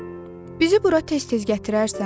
Bizi bura tez-tez gətirərsən?